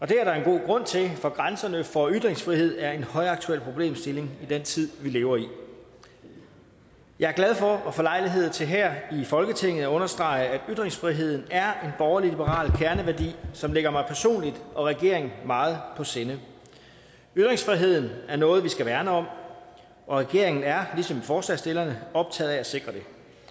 det er der en god grund til for grænserne for ytringsfrihed er en højaktuel problemstilling i den tid vi lever i jeg er glad for at få lejlighed til her i folketinget at understrege at ytringsfriheden er er en borgerlig liberal kerneværdi som ligger mig personligt og regeringen meget på sinde ytringsfriheden er noget vi skal værne om og regeringen er ligesom forslagsstillerne optaget af at sikre den